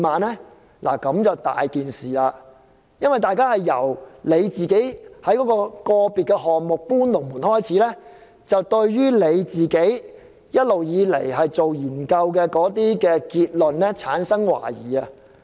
這樣麻煩就大了，一切問題由政府在個別項目"搬龍門"開始，大家對政府一直以來的研究結論產生懷疑。